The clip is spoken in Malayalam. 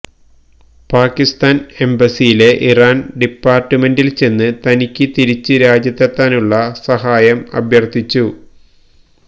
പാകിസ്താന് എംബസിയിലെ ഇറാന് ഡിപാര്ട്ട്മെന്റില് ചെന്ന് തനിക്ക് തിരിച്ച് രാജ്യത്തെത്താനുള്ള സഹായം അഭ്യര്ത്ഥിച്ചു